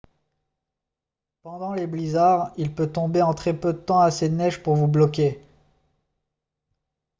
pendant les blizzards il peut tomber en très peu de temps assez de neige pour vous bloquer